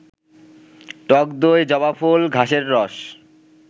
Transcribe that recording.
টক দই, জবাফুল, ঘাসের রস